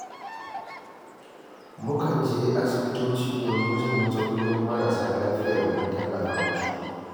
Mukan je asibitoci domin jin matsalolin marasa lafiya domin tallafa musu.